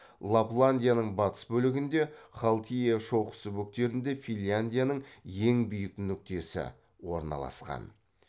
лапландияның батыс бөлігінде халтиа шоқысы бөктерінде финляндияның ең биік нүктесі орналасқан